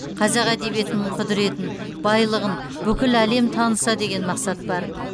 қазақ әдебиетінің құдыретін байлығын бүкіл әлем таныса деген мақсат бар